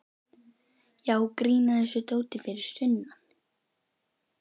Já, grín að þessu dóti fyrir sunnan.